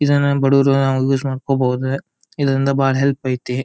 ಇದನ್ನ ಬಡವರು ನಾವು ಯೂಸ್ ಮಾಡ್ಕೊಬೋದು ಇದರಿಂದ ಬಾಳ ಹೆಲ್ಪ್ ಐತಿ.